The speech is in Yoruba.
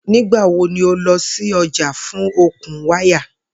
Nigbawo ni o lọ si ọja fun okun waya?